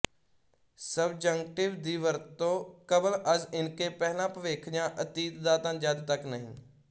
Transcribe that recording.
subjunctive ਦੀ ਵਰਤੋਂਕ਼ਬਲ ਅਜ਼ ਇਨਕੇ ਪਹਿਲਾਂ ਭਵਿੱਖ ਜਾਂ ਅਤੀਤ ਦਾ ਤਾ ਜਦ ਤੱਕ ਨਹੀਂ